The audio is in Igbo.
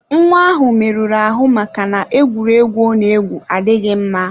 Nwa ahụ merụrụ ahụ maka na egwuregwu Ona egwu adịghị mma.